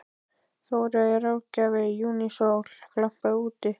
Þóreyjar ráðgjafa og júnísólin glampaði úti.